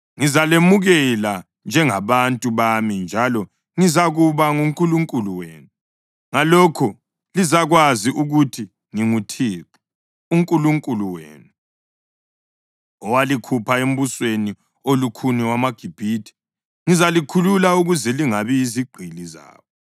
Ngizalemukela njengabantu bami njalo ngizakuba nguNkulunkulu wenu. Ngalokho lizakwazi ukuthi nginguThixo uNkulunkulu wenu owalikhupha embusweni olukhuni wamaGibhithe. Ngizalikhulula ukuze lingabi yizigqili zabo.